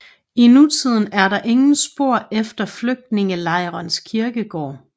I nutiden er der ingen spor efter flygtningelejrens kirkegård